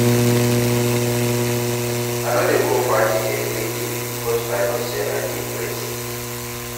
I no dey go party everyday because I know say I need rest.